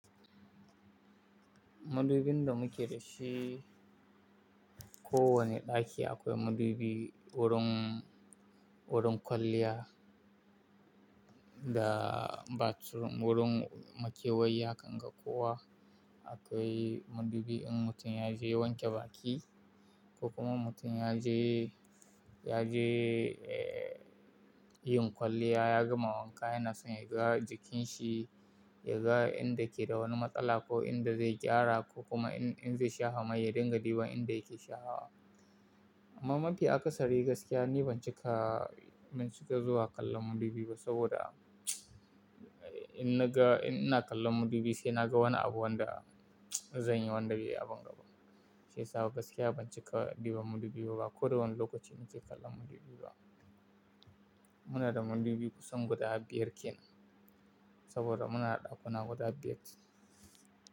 Madubin da muke da shi, ko wane ɗaki akwai madubi, wurin, wurin kwalliya da bathroom, wurin makewayi hakan ga kowa. Akwai madubi in mutum ya je wanke baki ko kuma mutum ya je, ya je, eh, yin kwalliya, ya gama wanka yana son ya ga jikin shi, ya ga inda ke da wani matsala ko inda zai gyara ko kuma in, in zai shafa mai ya dinga diba inda yake shafawa. Amma mafi akasari gaskiya ni ban cika, ban cika zuwa kallon madubi ba saboda in naga, in ina kallon madubi sai naga wani abu wanda zanyi wanda zai yi abin gaba. Shiyasa gaskiya ban cika duba madubi ba ko da wani lokaci muke kallon madubi ba. Muna da madubi kusan guda biyar kenan saboda muna da ɗakuna guda biyar.